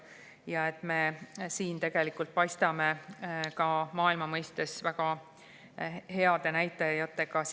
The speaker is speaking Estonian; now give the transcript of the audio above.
Me paistame siin tegelikult ka maailma mõistes silma väga heade näitajatega.